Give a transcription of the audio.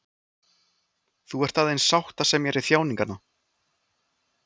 Þú ert aðeins sáttasemjari þjáninganna.